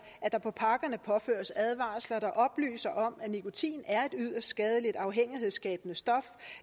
at der på pakkerne påføres advarsler der oplyser om at nikotin er yderst skadeligt afhængighedsskabende stof